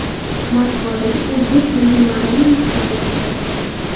Moskvadagi O‘zbek milliy-madaniy muxtoriyati raisi.